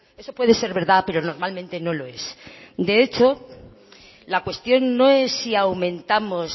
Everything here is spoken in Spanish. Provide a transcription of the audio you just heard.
eso puede ser verdad pero normalmente no lo es de hecho la cuestión no es si aumentamos